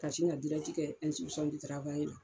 Ka sin ŋa dirɛti kɛ la